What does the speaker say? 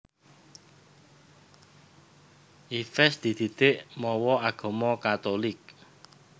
Yves dididik mawa agama Katulik